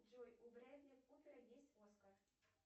джой у брэдли купера есть оскар